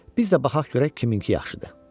Biz də baxaq görək kiminki yaxşıdır.